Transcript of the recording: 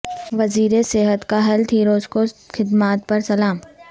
وزیر صحت کا ہیلتھ ہیروز کو خدمات پر سلام